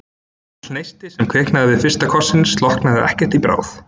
Litli neistinn, sem kviknaði við fyrsta kossinn, slokknaði ekkert í bráð.